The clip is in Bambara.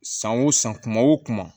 San o san kuma o kuma